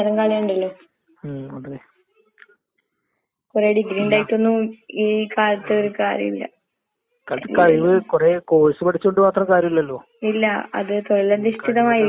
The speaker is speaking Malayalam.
ഡോക്ടർ ആയിറ്റു എല്ലാരും ഓരോ നല്ല നല്ല ജോലീല് നിക്ക്ന്ന്ണ്ട്. ന നമ്മളെല്ലാം ന ആ പഠിക്കണ്ട സമയം നല്ലോണം പഠിച്ചിന് ശെരിയാന്ന്. പക്ഷെ ബാക്കി മുന്നോട്ട് പഠിക്കാൻ നമ്മളെക്കൊണ്ട് കഴിഞ്ഞിട്ടില്ല എന്നതാണ് സത്യമായ കാര്യം.